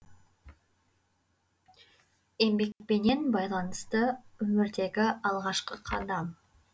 еңбекпенен байланысты өмірдегі алғашқы қадам